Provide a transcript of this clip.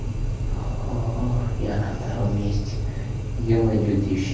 я на втором месте где мои две тысячи